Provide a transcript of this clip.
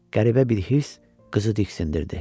Qəribə bir hirs qızı diksindirdi.